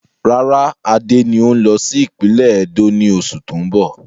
Rárá, Adé ni o n lọ sí ìpínlẹ́ Ẹdó ni oṣù tóun bọ̀.